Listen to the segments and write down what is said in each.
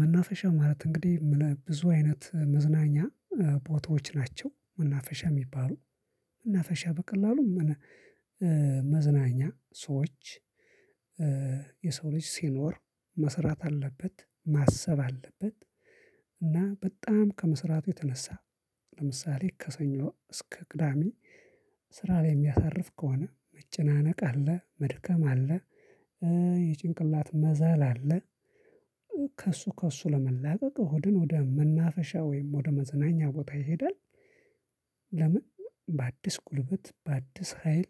መናፈሻ ማለት እንግዲህ ብዙ አይነት መዝናኛ ቦታዎች ናቸው መናፈሻ የሚባሉ መናፈሻ በቀላሉም መዝናኛ ሰዎች የሰው ልጅ ሲኖር መስራት አለበት ማሰብ አለበት። እና በጣም ከመስራቱ የተነሳ ለምሳሌ ከሰኞ እስከ ቅዳሜ ስራ ላይ የሚያሳልፍ ከሆነ መጨናነቅ አለ መድከም አለ። የጭንቅላት መዛል አለ። ከእሱ ለመላቀቅ ከመድን ወደ መናፈሻ ወይም ወደ መዝናኛ ቦታ ይሄዳል። ለምን? በአዲስ ጉልበት በአዲስ ሀይል።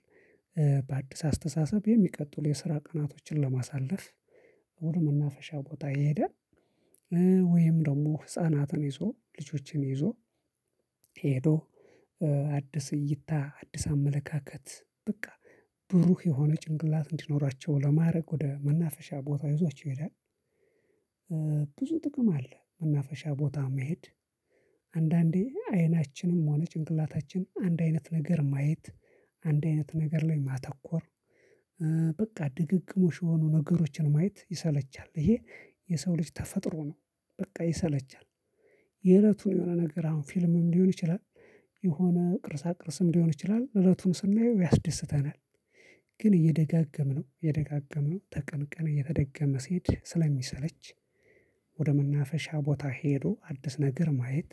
በአዲስ አስተሳሰብ የሚቀጥሉ የስራ ቀናቶችን ለማሳለፍ ወደ መናፈሻ ቦታ ይሄዳል። ወይም ደግሞ ህፃናትን ይዞ ልጆችን ይዞ ሄዶ አተዲስ እይታ አዲስ አመለካከት በቃ ብሩህ የሆነ ጭንቅላት እንዲኖራቸው ለማድረግ ወደ መናፈሻ ቦታ ይዟቸው ይሄዳል። ብዙ ጥቅም አለ መናፈሻ ቦታ መሄድ። አንዳንዴ አይናችንም ሆነ ጭንቅላታችን አንድ አይነት ነገር ማየት አንድ አይነት ነገር ላይ ማተኮር በቃ ድግግሞሽ የሆኑ ነገሮችን ማየት ይሰለቻል ይሄ የሰው ልጅ ተፈጥሮ ነው። በቃ ይሰለቻል። የእለቱን የሆነ ነገር አሁን ፊልምም ሊሆን ይችላል የሆነ ቅርሳ ቅርስም ሊሆን ይችላል እለቱን ስናየው ያስደስተናል። ግን እየደጋገምነው የደጋገምነው ከቀንቀን እየተደገመ ሲሄድ ስለሚሰለች። ወደ መናፈሻ ቦታ ሄዶ አዲስ ነገር ማየት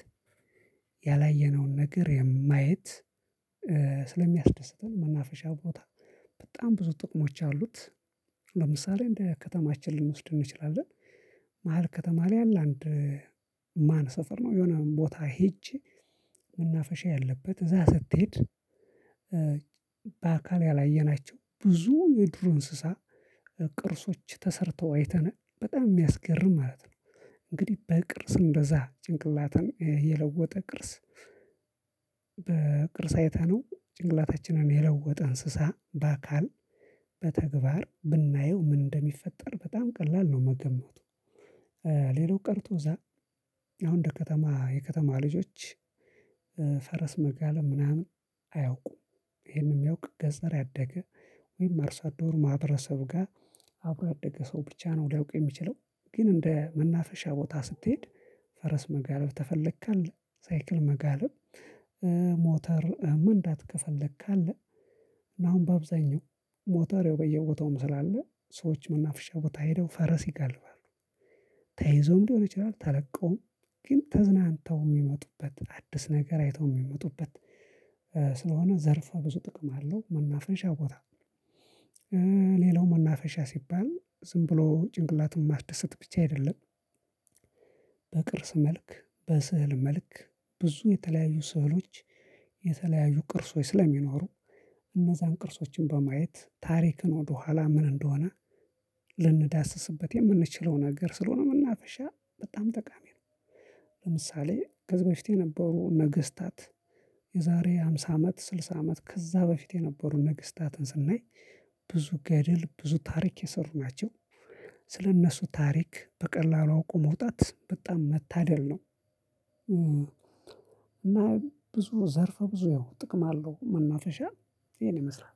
ያላየነውን ነገር ማየት ስለሚያስደስተን መናፈሻ ቦታ በጣም ብዙ ጥቅሞች አሉት። ለምሳሌ እንደ ከተማችን ልንወስድ እንችላለን። መሃል ከተማ ላይ አለ አንድ ማን ሰፈር ነው የሆነ ቦታ ሄጄ መናፈሻ ያለበት እዛ ስትሄድ በአካል ያላየናቸው ብዙ የዱር እንስሳ ቅርሶች ተሰርተው አይተናል በጣም የሚያስገርም ማለት ነው። እንግዲህ በቅርስ እንደዛ ጭንቅላታን የለወጠ ቅርስ በቅርስ አይተነው ጭንቅላታችንን የለወጠ እንስሳ በአካል በተግባር ብናየው ምን እንደሚፈጠር በጣም ቀላል ነው መገማቱ። ሌላው ቀርቶ እዛ አሁን እንደ ከተማ የከተማ ልጆች ፈረስ መጋለብ ምናምን አያውቁም ይሄንን የሚያውቅ ገጠር ያደገ ወይም አርሶአደሩ ማህረሰብ ጋር አብሮ ያደገ ሰው ብቻ ነው ሊያውቁ የሚችለው። ግን እንደ መናፈሻ ቦታ ስትሄድ ፈረስ መጋለብ ከፈለክ አለ ሳይክል መጋለብ። ሞተር መንዳት ከፈለክ አለ። እና አሁን በአብዛኛው ሞተር ያው በየውተውም ስላለ ሰዎች መናፍሻ ቦታ ሄደው ፈረስ ይገልባሉ። ተይዞም ሊሆን ይችላል ተለቀውም ግን ተዝናንተው የሚመጡበት አዲስ ነገር አይተው የሚመጡበት ስለሆነ ዘርፈ ብዙ ጥቅም አለው መናፈንሻ ቦታ። ሌላው መናፈሻ ሲባል ዝም ብሎ ጭንቅላትን ማስደሰት ብቻ አይደለም። በቅርስ መልክ በስዕል መልክ ብዙ የተለያዩ ስዕሎች የተለያዩ ቅርሶች ስለሚኖሩ እነዛን ቅርሶችን በማየት ታሪክን ወደኋላ ምን እንደሆነ ልንዳስስበት የምንችለው ነገር ስለሆነ መናፈሻ በጣም ጠቃሚ ነው። ለምሳሌ ከዚህበፊት የነበሩ ነገስታት የዛሬ ሃምሳ አመት ስልሳ አመት ከዚያ በፊት የነበሩ ነገስታትን ስናይ ብዙ ገድል ብዙ ታሪክ የሰሩ ናቸው። ስለእነሱ ታሪክ በቀላሉ አውቆ መውጣት በጣም መታደል ነው እና ብዙ ዘርፈ ብዙ ያው ጥቅም አለው መናፈሻ ይሄን ይመስላል።